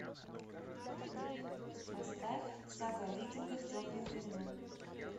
поставь сага о викингах темные времена